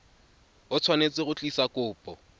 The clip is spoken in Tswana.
o tshwanetse go tlisa kopo